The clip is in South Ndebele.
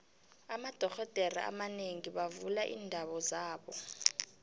amadoxhodere abanengi bavula iindawo zabo